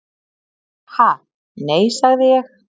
"""Ha, nei, sagði ég."""